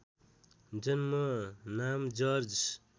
जन्म नाम जर्ज